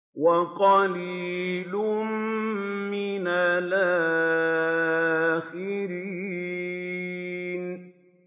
وَقَلِيلٌ مِّنَ الْآخِرِينَ